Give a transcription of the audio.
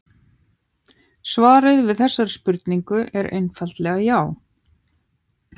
Svarið við þessari spurningu er einfaldlega já.